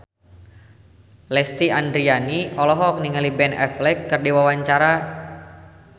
Lesti Andryani olohok ningali Ben Affleck keur diwawancara